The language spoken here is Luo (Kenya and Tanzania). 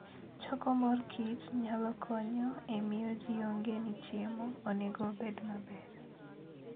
Choko mor kich nyalo konyo e miyo ji ong'e ni chiemo onego obed maber.